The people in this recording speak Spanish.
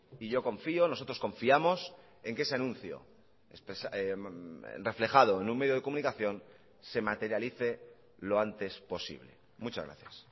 y yo confío nosotros confiamos en que ese anuncio reflejado en un medio de comunicación se materialice lo antes posible muchas gracias